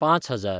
पांच हजार